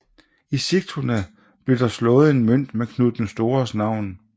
I Sigtuna blev der slået en mønt med Knud den Stores navn